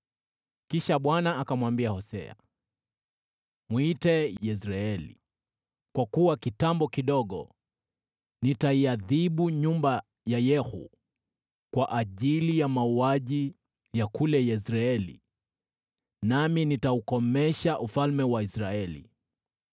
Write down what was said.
Kisha Bwana akamwambia Hosea, “Mwite Yezreeli, kwa kuwa kitambo kidogo nitaiadhibu nyumba ya Yehu kwa ajili ya mauaji ya kule Yezreeli, nami nitaukomesha ufalme wa Israeli.